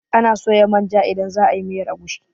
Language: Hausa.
Anaa soya manja idan za a yi miyar agushi.